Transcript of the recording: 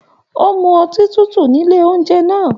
O mú ọtí tútù nílé oúnjẹ náà.